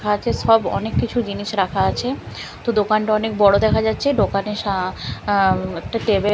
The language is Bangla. সব অনেক কিছু জিনিস রাখা আছে তো দোকানটা অনেক বড়ো দেখা যাচ্ছে দোকানের সা আঁ একটা টেবি --